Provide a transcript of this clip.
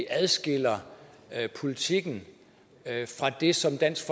adskiller politikken fra det som dansk